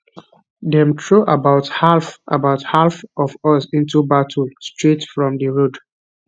dem throw about half about half of us into battle straight from di road